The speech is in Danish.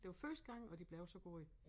Det var første gang og de blev så gode